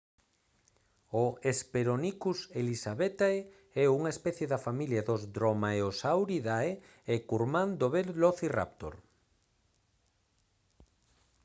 o hesperonychus elizabethae é unha especie da familia dos dromaeosauridae e é curmán do velocirráptor